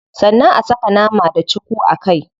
Sannan a saka nama da cuku a kai.